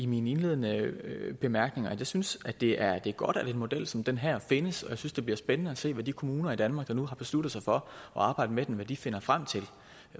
min indledende bemærkninger at jeg synes det er godt at en model som den her findes og jeg synes det bliver spændende at se hvad de kommuner i danmark der nu har besluttet sig for at arbejde med med den finder frem til